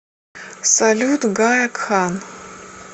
салют гая кхан